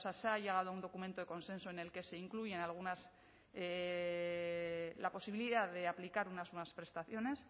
sea se ha llegado a un documento de consenso en el que se incluyen algunas la posibilidad de aplicar unas nuevas prestaciones